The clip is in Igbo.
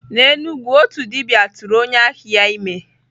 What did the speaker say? N'Enugwu, otu dibia tụrụ onye ahịa ya ime.